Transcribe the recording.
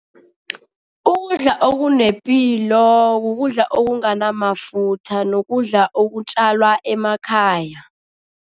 Ukudla okunepilo kukudla okunganamafutha nokudla okutjalwa emakhaya.